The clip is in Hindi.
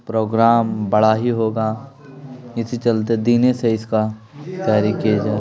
प्रोग्राम बड़ा ही होगा इसी चलते दिन से इसका तैयारी किये जा --